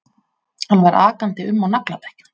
Hann var akandi um á nagladekkjum